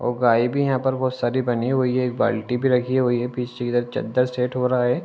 और गाय भी यहाँ पर बहोत सारी बनी हुई हैं। एक बाल्टी भी रखी हुई है पीछे की तरफ चद्दर सेट हो रहा है।